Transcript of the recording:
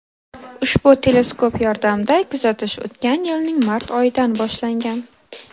Ushbu teleskop yordamida kuzatish o‘tgan yilning mart oyidan boshlangan.